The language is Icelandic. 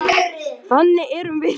Þannig erum við.